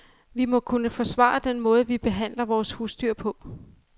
Vi må kunne forsvare den måde, vi behandler vores husdyr på.